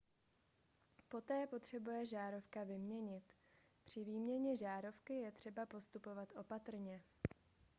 poté potřebuje žárovka vyměnit při výměně žárovky je třeba postupovat opatrně